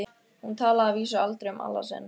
Hún talaði að vísu aldrei um Alla sinn.